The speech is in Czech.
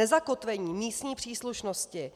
Nezakotvení místní příslušnosti